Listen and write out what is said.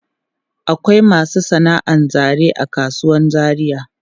Akwai masu sana'an zane a kasuwan Zaria.